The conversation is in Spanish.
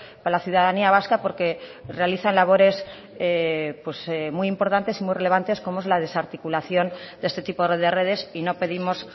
para la ciudadanía vasca porque realizan labores muy importantes y muy relevantes como es la desarticulación de este tipo de redes y no pedimos